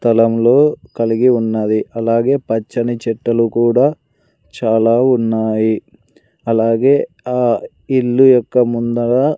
స్థలంలో కలిగి ఉన్నది అలాగే పచ్చని చెట్టులు కూడా చాలా ఉన్నాయి అలాగే ఆ ఇల్లు యొక్క ముందర--